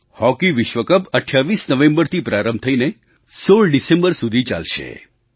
hockey વિશ્વ cup 28 નવેમ્બરથી પ્રારંભ થઈને 16 ડિસેમ્બર સુધી ચાલશે